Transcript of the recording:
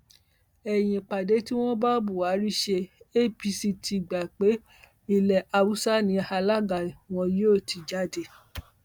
lẹyìn ìpàdé tí wọn bá buhari ṣe apc ti gbà pé ilé haúsá ni alága wọn yóò ti jáde